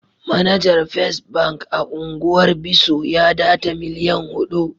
Manajer first bank a'ungwar Bisso ya data millian hudu.